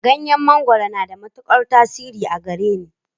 Ganyen mangwaro na da matukar tasiri a gareni.